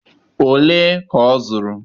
ole ka ọ zụrụ